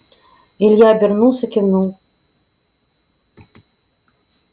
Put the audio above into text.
илья обернулся кивнул